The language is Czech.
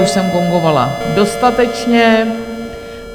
Už jsem gongovala dostatečně.